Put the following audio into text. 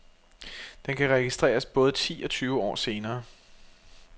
Den kan registreres både ti og tyve år senere.